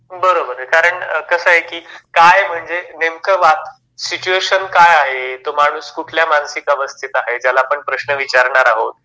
बरोबर आहे. कारण कस आहे की काय म्हणजे नेमकं वा सिच्युएशन काय आहे, तो माणूस कुठल्या मानसिक अवस्थेत आहे ज्याला आपण प्रश्न विचारणार आहोत